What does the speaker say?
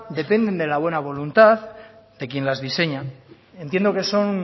dependen de la buena voluntad de quien las diseña entiendo que son